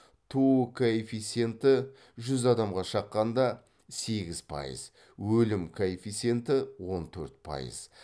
туу коэффиценті жүз адамға шаққанда сегіз пайыз өлім коэффиценті он төрт пайыз